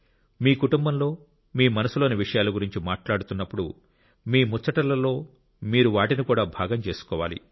మీ కుటుంబంలో మీ మనసులోని విషయాల గురించి మాట్లాడుతున్నప్పుడు మే ముచ్చటలలో మీరు వాటిని కూడా భాగం చేసుకోవాలి